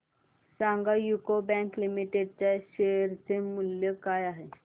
सांगा UCO bank limited च्या share चे मूल्य काय आहे